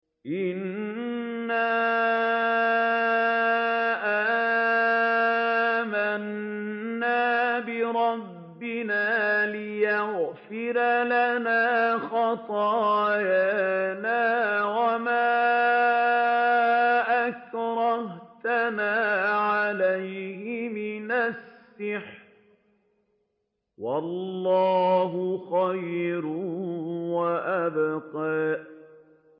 إِنَّا آمَنَّا بِرَبِّنَا لِيَغْفِرَ لَنَا خَطَايَانَا وَمَا أَكْرَهْتَنَا عَلَيْهِ مِنَ السِّحْرِ ۗ وَاللَّهُ خَيْرٌ وَأَبْقَىٰ